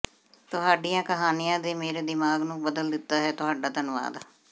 ਤੁਹਾਡੀਆਂ ਕਹਾਣੀਆਂ ਨੇ ਮੇਰੇ ਦਿਮਾਗ ਨੂੰ ਬਦਲ ਦਿੱਤਾ ਹੈ ਤੁਹਾਡਾ ਧੰਨਵਾਦ